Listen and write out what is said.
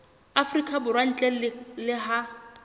afrika borwa ntle le ha